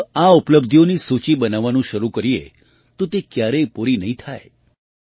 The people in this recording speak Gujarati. જો આ ઉપલબ્ધિઓની સૂચિ બનાવવાનું શરૂ કરીએ તો તે ક્યારેય પૂરી નહીં થાય